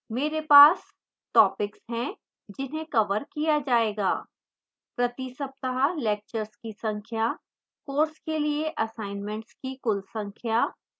मेरे पास topics है जिन्हें कवर किया जायेगा